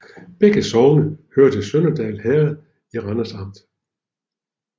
Begge sogne hørte til Sønderhald Herred i Randers Amt